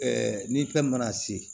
ni fɛn mana se